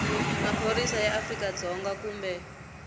maphorisa ya afrika dzonga kumbe